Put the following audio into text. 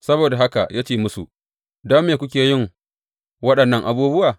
Saboda haka ya ce musu, Don me kuke yin waɗannan abubuwa?